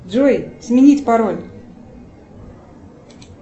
джой сменить пароль